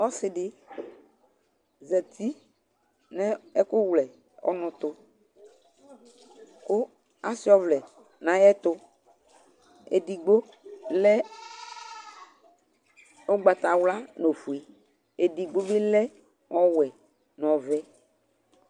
Ɔsɩ dɩ zati nʋ ɛkʋwlɛ ɔnʋ tʋ kʋ asʋɩa ɔvlɛ nʋ ayɛtʋ Edigbo lɛ ʋgbatawla nʋ ofue Edigbo bɩ lɛ ɔwɛ nʋ ɔvɛ